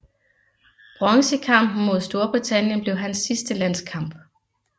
Bronzekampen mod Storbritannien blev hans sidste landskamp